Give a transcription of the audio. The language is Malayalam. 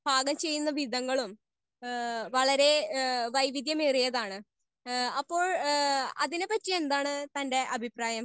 സ്പീക്കർ 1 ഏ വളരെ ഏ വൈവിദ്ധ്യം ഏറിയതാണ്. ഏ അപ്പോൾ അതിനെ പറ്റി എന്താണ് തന്റെ അഭിപ്രായം?